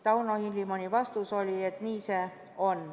Tauno Hilimoni vastus oli, et nii see on.